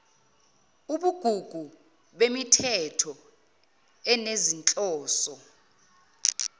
ubugugu bemithetho enezinhloso